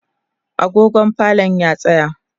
agogon falon ya tsaya